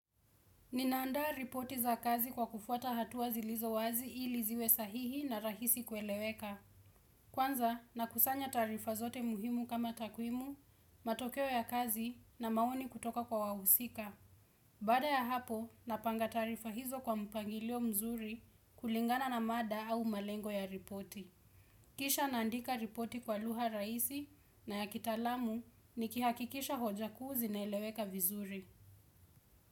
Ninaandaa ripoti za kazi kwa kufuata hatua zilizo wazi ili ziwe sahihi na rahisi kueleweka. Kwanza nakusanya taarifa zote muhimu kama takwimu, matokeo ya kazi na maoni kutoka kwa wahusika. Baada ya hapo, napanga taarifa hizo kwa mpangilio mzuri kulingana na mada au malengo ya ripoti. Kisha naandika ripoti kwa lugha raisi na ya kitaalamu nikihakikisha hoja ku zina eleweka vizuri.